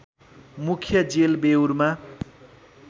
मुख्य जेल बेउरमा